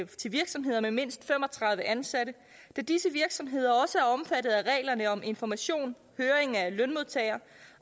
til virksomheder med mindst fem og tredive ansatte da disse virksomheder også er omfattet af reglerne om information høring af lønmodtager